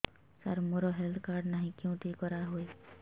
ସାର ମୋର health card ନାହିଁ କେଉଁଠି କରା ହୁଏ